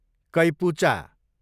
कैपुचा